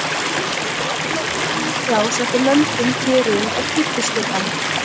Það var breytilegt í tímans rás eftir löndum, héruðum og kirkjuskipan.